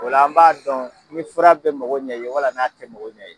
O la, an b'a dɔn ni fura bɛ magɔo ɲɛn i ye, wala n'a tɛ mago ɲan i ye.